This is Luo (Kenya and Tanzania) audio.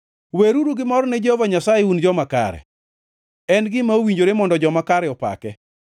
Weruru gimor ni Jehova Nyasaye, un joma kare; en gima owinjore mondo joma kare opake.